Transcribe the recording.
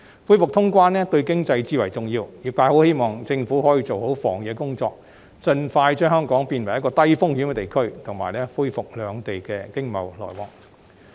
恢復通關對經濟至為重要，因此，業界很希望政府可以做好防疫工作，盡快將香港變為低風險地區及恢復與內地的經濟往來。